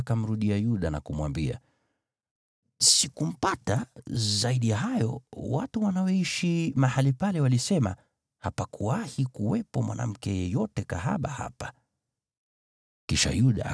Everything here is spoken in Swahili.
Kwa hiyo akamrudia Yuda na kumwambia, “Sikumpata. Zaidi ya hayo, watu wanaoishi mahali pale walisema ‘Hapakuwahi kuwepo mwanamke yeyote kahaba wa mahali pa kuabudia miungu hapa.’ ”